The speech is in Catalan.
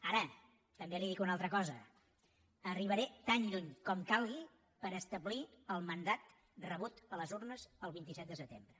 ara també li dic una altra cosa arribaré tan lluny com calgui per establir el mandat rebut a les urnes el vint set de setembre